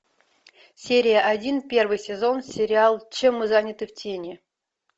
серия один первый сезон сериал чем мы заняты в тени